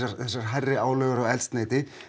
hækka álögur á eldsneyti